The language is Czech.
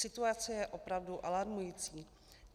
Situace je opravdu alarmující.